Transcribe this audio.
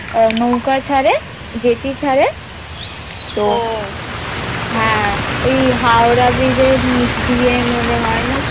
আহ নৌকা ছাড়ে জেটি ছাড়ে হ্যাঁ ওই হাওড়া bridge এর নিচ দিয়ে মনেহয় না